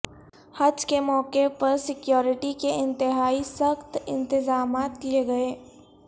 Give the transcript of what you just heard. حج کے موقع پر سیکیورٹی کے انتہائی سخت انتظامات کئے گئے